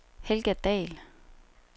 Helga Dahl